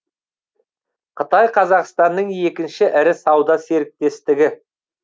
қытай қазақстанның екінші ірі сауда серіктестігі